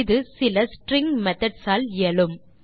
இது சில string methods ஆல் இயலும்